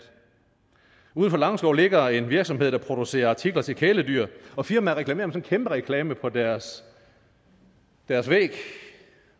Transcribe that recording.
uden for langeskov ligger en virksomhed der producerer artikler til kæledyr og firmaet reklamerer med sådan en kæmpe reklame på deres deres væg